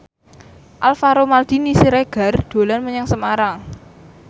Alvaro Maldini Siregar dolan menyang Semarang